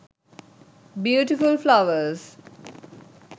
beautiful flowers